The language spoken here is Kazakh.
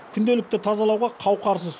күнделікті тазалауға қауқарсыз